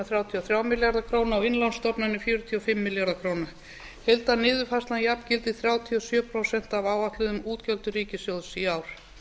þrjátíu og þrjá milljarða króna og innlánsstofnanir fjörutíu og fimm milljarða króna heildarniðurfærslan jafngildir þrjátíu og sjö prósent af áætluðum útgjöldum ríkissjóðs í ár